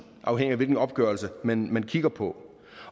afhængigt af hvilken opgørelse man kigger på